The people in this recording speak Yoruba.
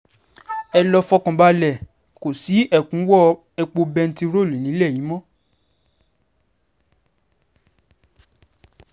ẹ lọ́ọ́ fọkàn balẹ̀ kò ní í sí ẹ̀kúnwọ́ epo bẹntiróòlù nílẹ̀ yìí mọ́